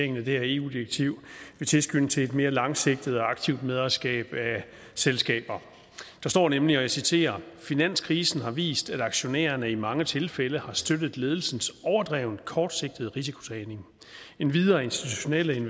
det her eu direktiv vil tilskynde til et mere langsigtet og aktivt medejerskab af selskaber der står nemlig og jeg citerer finanskrisen har vist at aktionærerne i mange tilfælde har støttet ledelsens overdrevent kortsigtede risikotagning endvidere er institutionelle